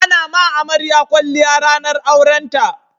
A na ma amarya kwalliya ranar aurenta